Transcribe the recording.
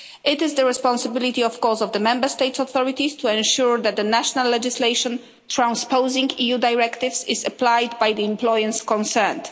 It is the responsibility, of course, of the Member States' authorities to ensure that the national legislation transposing EU directives is applied by the employers concerned.